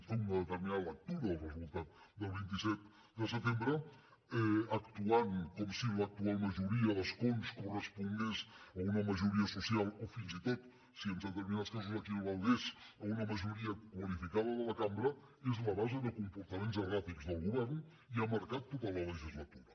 fer una determinada lectura del resultat del vint set de setembre actuant com si l’actual majoria d’escons correspongués a una majoria social o fins i tot com si en determinats casos equivalgués a una majoria qualificada de la cambra és la base de comportaments erràtics del govern i ha marcat tota la legislatura